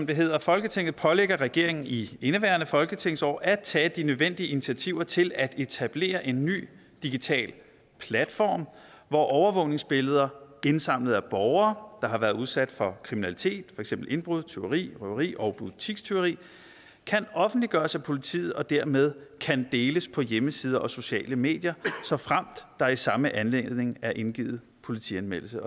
det hedder folketinget pålægger regeringen i indeværende folketingsår at tage de nødvendige initiativer til at etablere en ny digital platform hvor overvågningsbilleder indsamlet af borgere der har været udsat for kriminalitet for eksempel indbrud tyveri røveri og butikstyveri kan offentliggøres af politiet og dermed kan deles på hjemmesider og sociale medier såfremt der i samme anledning er indgivet politianmeldelse